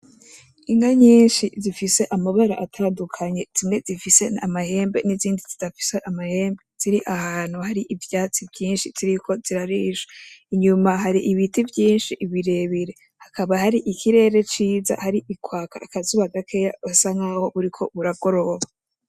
Inka nyinshi zifise amabara atandukanye zimwe zifise amahembe n'izindi zidafise amahembe ziri ahantu hari ivyatsi vyinshi ziriko zirarisha inyuma hari ibiti vyinshi birebire hakaba hari ikirere ciza hari kwaka akazuba gakeya busa nkaho buriko buragoroba .